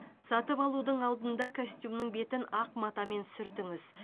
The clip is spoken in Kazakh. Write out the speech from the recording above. сатып алудың алдында костюмнің бетін ақ матамен сүртіңіз